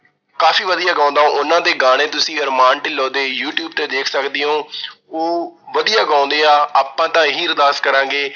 ਕਾਫ਼ੀ ਵਧੀਆ ਗਾਉਂਦਾ, ਉਹਨਾਂ ਦੇ ਗਾਣੇ ਤੁਸੀਂ ਅਰਮਾਨ ਢਿੰਲੋਂ ਦੇ ਯੂਟਿਊਬ ਤੇ ਦੇਖ ਸਕਦੇ ਹੋ ਉਹ ਵਧੀਆ ਗਾਉਂਦੇ ਆ, ਆਪਾਂ ਤਾਂ ਇਹੀ ਅਰਦਾਸ ਕਰਾਂਗੇ,